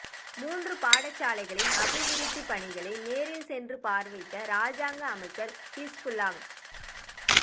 மூன்று பாடசாலைகளின் அபிவிருத்திப் பணிகளை நேரில் சென்று பார்வையிட்ட இராஜாங்க அமைச்சர் ஹிஸ்புல்லாஹ்